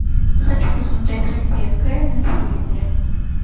хочу посмотреть россия к на телевизоре